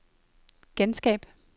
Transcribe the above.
genskab